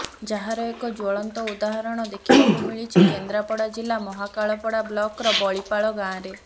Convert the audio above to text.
ଯାହାର ଏକ ଜ୍ୱଳନ୍ତ ଉଦାହରଣ ଦେଖିବାକୁ ମିଳିଛି କେନ୍ଦ୍ରାପଡ଼ା ଜିଲ୍ଲା ମହାକାଳପଡ଼ା ବ୍ଲକର ବଳିପାଳ ଗାଁରେ